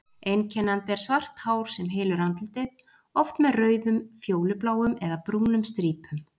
Einkennandi er svart hár sem hylur andlitið, oft með rauðum, fjólubláum eða brúnum strípum.